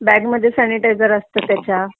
bag मध्ये sanitizer असतं त्याच्या